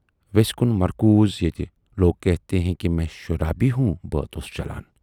ویس کُن مرکوٗز ییتہِ"لوگ کہتے ہیں میں شرابی ہوں"بٲتھ اوس چلان۔